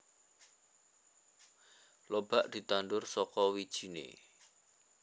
Lobak ditandur saka wijine